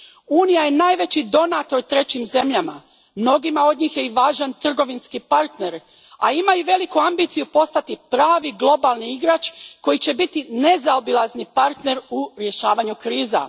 Unija je najveći donator trećim zemljama, mnogima od njih je i važan trgovinski partner, a ima i veliku ambiciju postati pravi globalni igrač koji će biti nezaobilazni partner u rješavanju kriza.